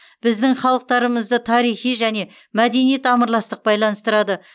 біздің халықтарымызды тарихи және мәдени тамырластық байланыстырады